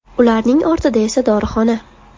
Ularning ortida esa dorixona.